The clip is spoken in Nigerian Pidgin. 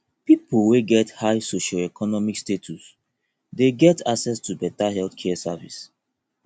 pipo wey get high socioeconomic status de get access to better health care service